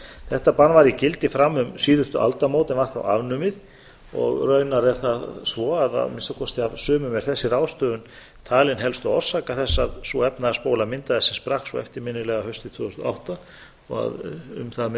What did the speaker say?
þetta bann var í gildi fram um síðustu aldamót en var þá afnumið og raunar er það svo að af minnsta af sumum er þessi ráðstöfun talin helsta orsök þess að sú efnahagsbóla myndaðist sem sprakk svo eftirminnilega haustið tvö þúsund og átta og að um það